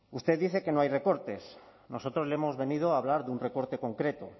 usted dice que no hay recortes nosotros le hemos venido a hablar de un recorte concreto